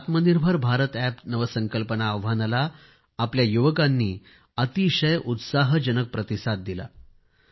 या आत्मनिर्भर भारत अॅप नवसंकल्पना आव्हानाला आपल्या युवकांनी अतिशय उत्साहाजनक प्रतिसाद दिला